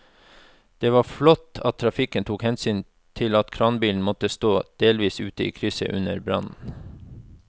Det var flott at trafikken tok hensyn til at kranbilen måtte stå delvis ute i krysset under brannen.